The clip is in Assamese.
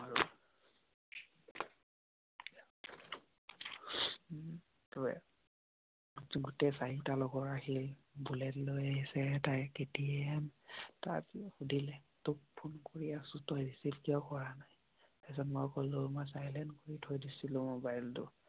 গোটেই লগৰ আহিল। বুলেট লৈ আছে এটাই কেটিয়াম তাৰ পিছত সুধিলে তোক ফোন কৰি আছোঁ তই ৰিশিভ কিয় কৰা নাই? পিছত মই কৈ ললো মই চাইলেন্ত কৰি থৈ দিছোঁ মবাইল টো